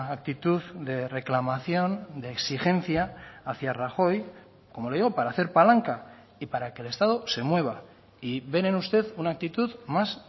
actitud de reclamación de exigencia hacia rajoy como le digo para hacer palanca y para que el estado se mueva y ven en usted una actitud más